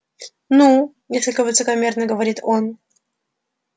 ну несколько высокомерно говорит он